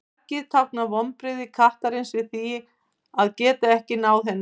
gaggið táknar vonbrigði kattarins við því að geta ekki náð henni